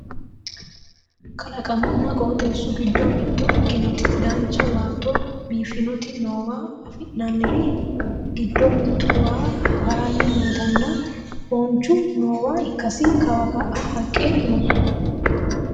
kalaqmunna qoxeessu giddo mitto ikkitinoti dancha baatto biiffannoti noowa anfanniri giddo mittu waye harani nootanna foocnhu noowa ikkasi ka'a kawa haqqe no